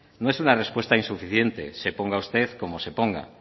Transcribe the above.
no es una respuesta insuficiente se ponga usted como se ponga